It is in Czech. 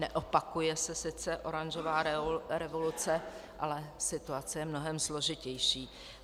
Neopakuje se sice oranžová revoluce, ale situace je mnohem složitější.